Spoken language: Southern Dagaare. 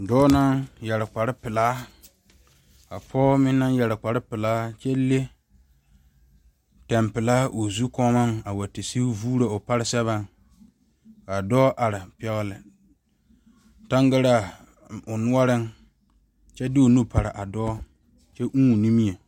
Dɔɔ naŋ yɛre kpare pelaa ka pɔge meŋ naŋ yɛre kpare pelaa a kyɛ le pɛn pelaa o zu kɔɔmo a te sigi vuuro o pare seɛŋa kaa dɔɔ are pɛgeli tangaraa o noɔreŋ kyɛ de o nu pare a dɔɔ kyɛ ʋʋ o nimie